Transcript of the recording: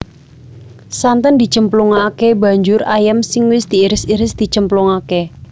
Santen dicemplungake banjur ayam sing wis diiris iris dicemplungake